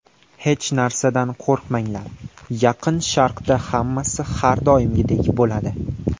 Hech narsadan qo‘rqmanglar, Yaqin Sharqda hammasi har doimgidek bo‘ladi.